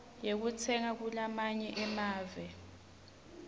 yekutsenga kulamanye emave